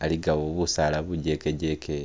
haligawo busaala bujeke jeke.